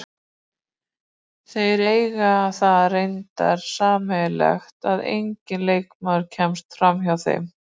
Þeir eiga það reyndar sameiginlegt að enginn leikmaður kemst framhjá þeim.